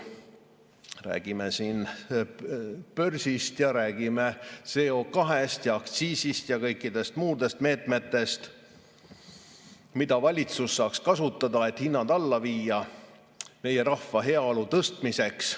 Me räägime siin börsist, räägime CO2‑st, aktsiisist ja kõikidest muudest meetmetest, mida valitsus saaks kasutada, et hinnad alla viia, meie rahva heaolu tõstmiseks.